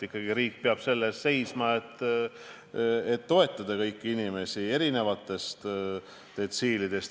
Ikkagi riik peab selle eest seisma, et toetada kõiki inimesi, erinevatest detsiilidest.